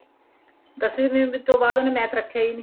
ਦਸਵੀ ਤੋਂ ਬਾਅਦ ਉਹਨੇ math ਰੱਖਿਆ ਈ ਨਹੀਂ